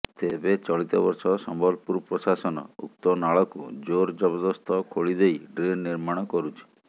ତେବେ ଚଳିତ ବର୍ଷ ସମ୍ବଲପୁର ପ୍ରଶାସନ ଉକ୍ତ ନାଳକୁ ଜୋର ଜବରଦସ୍ତ ଖୋଳି ଦେଇ ଡ୍ରେନ ନିର୍ମାଣ କରୁଛି